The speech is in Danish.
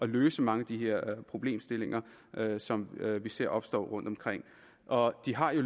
løse mange af de her problemstillinger som vi ser opstå rundtomkring og de har jo